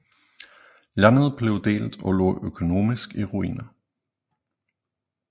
Landet blev delt og lå økonomisk i ruiner